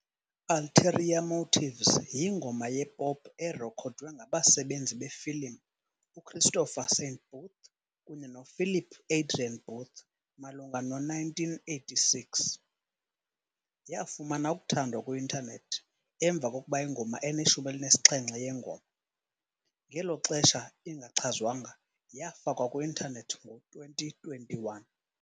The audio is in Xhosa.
"Ulterior Motives" yingoma yepop erekhodwe ngabenzi befilimu uChristopher Saint Booth kunye noPhilip Adrian Booth malunga no-1986. Yafumana ukuthandwa kwi-intanethi emva kokuba ingoma eneshumi elinesixhenxe yengoma, ngelo xesha ingachazwanga, yafakwa kwi-intanethi ngo-2021.